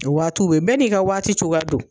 O waatiw bɛ yen, bɛ n'i ka waati cogoya don.